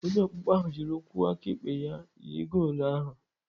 Onye ọkpụkpọ ahụ jiri ụkwụ aka ekpe ya jiri goolu a.